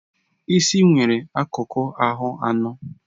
Isi nwere akụkụ ahụ anọ.